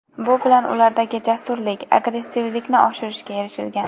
Bu bilan ulardagi jasurlik, agressivlikni oshirishga erishilgan.